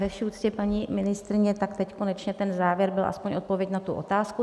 Ve vší úctě, paní ministryně, tak teď konečně ten závěr byl aspoň odpovědí na tu otázku.